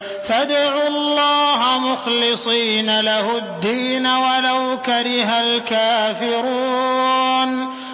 فَادْعُوا اللَّهَ مُخْلِصِينَ لَهُ الدِّينَ وَلَوْ كَرِهَ الْكَافِرُونَ